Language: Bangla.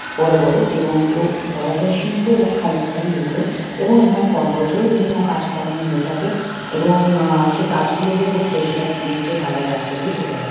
বড়ো বড়ো যে বন গুলো বলা যাই শিল্প সংস্থারই এগুলো এবং এখানে কর্পোরেট -এ বিভিন্ন কাজ কর্ম হয়ে থাকে এবং এ--সে কাজ গুলো যে হচ্ছে সেটা সিমেন্ট -এর ঢালাই রাস্তা দিয়ে বোঝা যায়।